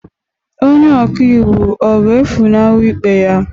Onye ọka iwu ọ ga-efunahụ ikpe ahụ?